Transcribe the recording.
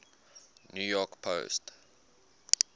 new york post